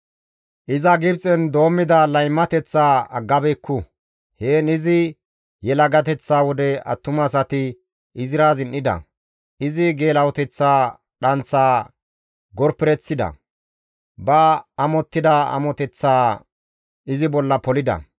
Iza Gibxen doommida laymateththa aggabeekku; heen izi yelagateththa wode attumasati izira zin7ida; izi geela7oteththa dhanththaa gorpereththida; ba amottida amoteththaa izi bolla polida.